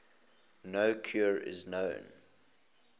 no cure is known